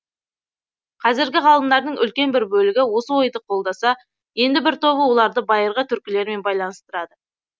қазіргі ғалымдардың үлкен бір бөлігі осы ойды қолдаса енді бір тобы оларды байырғы түркілермен байланыстырады